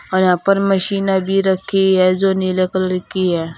और यहां पर मशीने भी रखी हैं जो नीले कलर की है।